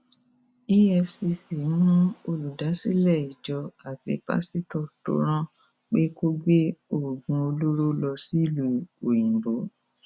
efcc mú olùdásílẹ ìjọ àti pásítọ tó rán pé kó gbé oògùn olóró lọ sílùú òyìnbó